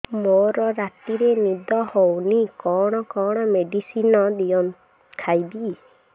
ମୋର ରାତିରେ ନିଦ ହଉନି କଣ କଣ ମେଡିସିନ ଖାଇବି